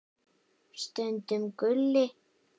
Stundum Gulli.